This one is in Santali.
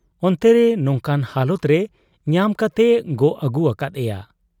ᱚᱱᱛᱮᱨᱮ ᱱᱚᱝᱠᱟᱱ ᱦᱟᱞᱟᱛᱨᱮ ᱧᱟᱢ ᱠᱟᱛᱮᱭ ᱜᱚᱜ ᱟᱹᱜᱩ ᱟᱠᱟᱫ ᱮᱭᱟ ᱾'